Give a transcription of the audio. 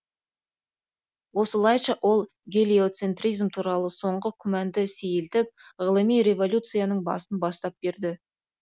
осылайша ол гелиоцентризм туралы соңғы күмәнды сейілтіп ғылыми революцияның басын бастап берді